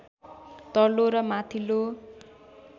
तल्लो र माथिल्लो